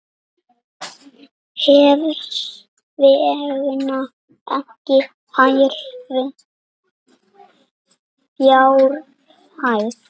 Hvers vegna ekki hærri fjárhæð?